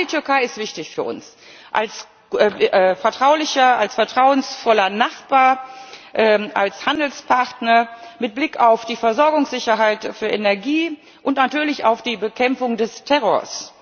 Ja, die Türkei ist wichtig für uns als vertrauensvoller Nachbar, als Handelspartner mit Blick auf die Versorgungssicherheit für Energie und natürlich auf die Bekämpfung des Terrors.